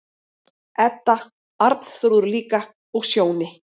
Edda, Arnþrúður líka, og Sjóni.